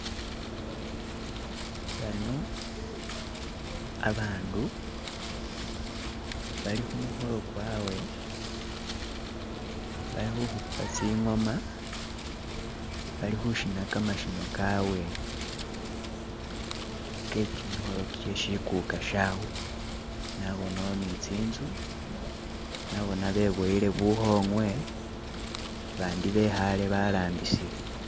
bano abandu balikhumukholo gwawe balikhukhupa tsingoma bali khushina khamashino khawe kheshimikholo sheshi kuka shaawe nabonawo ni tsinzu nabona bebowele bukhongwe bandi bekhale balambisile